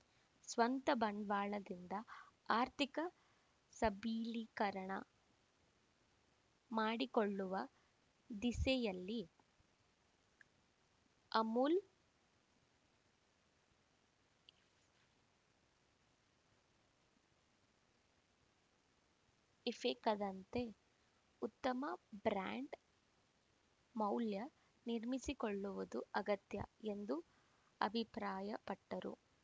ಸ್ವಂತ ಬಂಡವಾಳದಿಂದ ಆರ್ಥಿಕ ಸಬಲೀಕರಣ ಮಾಡಿಕೊಳ್ಳುವ ದಿಸೆಯಲ್ಲಿ ಅಮೂಲ್‌ ಇಫೆಕ್ ದಂತೆ ಉತ್ತಮ ಬ್ರಾಂಡ್‌ ಮೌಲ್ಯ ನಿರ್ಮಿಸಿಕೊಳ್ಳುವುದು ಅಗತ್ಯ ಎಂದು ಅಭಿಪ್ರಾಯ ಪಟ್ಟರು